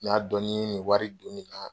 N'a dɔn ni ye nin wari don nin na